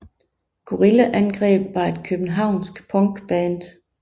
Gorilla Angreb var et københavnsk punkband